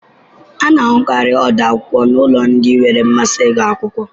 A na-ahụkarị ọdo akwụkwọ n'ụlọ ndị nwere mmasị ịgụ akwụkwọ